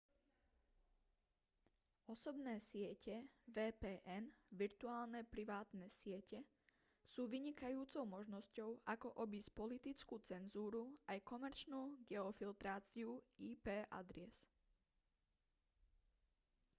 osobné siete vpn virtuálne privátne siete sú vynikajúcou možnosťou ako obísť politickú cenzúru aj komerčnú geofiltráciu ip adries